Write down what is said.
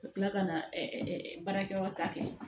Ka tila ka na baarakɛyɔrɔ ta kɛ